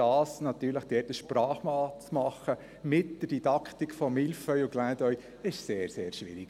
Da ein Sprachbad zu machen, mit der Didaktik von «Mille feuilles» und «Clin d’œil», ist effektiv sehr, sehr schwierig.